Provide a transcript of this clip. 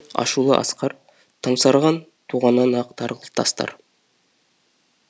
ашулы асқар томсарған туғаннан ақ тарғыл тастар